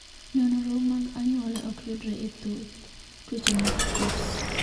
Nonro mag anyuola ok yudre e thoth tuoche mag Coats.